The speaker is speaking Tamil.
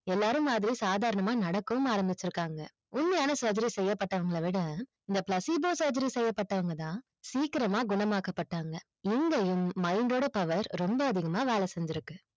எல்லாரும் மாதிரி சாதனமா நடக்கும் ஆரம்பிச்சுக்காங்க உண்மையான surgery செய்யபட்டவங்க விட இந்த placebo surgery செய்யபட்டவங்க தான் சீக்கிரமா குணமாக்க பட்டாங்க எங்கையும் mind ஓட power ரொம்ப அதிகமா வேல செஞ்சு இருக்கு